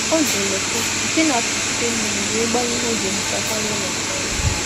Ọ na-eji ololo na-apịkpọ mmiri wụsa ncha ọ ncha ọ na-ahọrọ nke ọma.